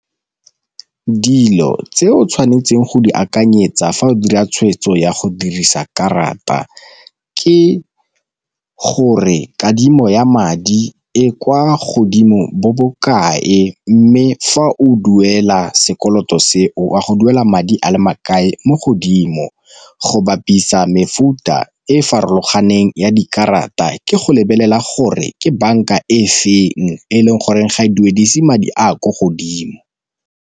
Dilo tse o tshwanetseng go di akanyetsa fa o dira tshweetso ya go dirisa karata ke gore kadimo ya madi e kwa godimo bo bokae, mme fa o duela sekoloto seo go duela madi a le makae mo godimo, go bapisa mefuta e farologaneng ya dikarata ke go lebelela gore ke banka e feng e leng gore ga e duedise madi a kwa godimo.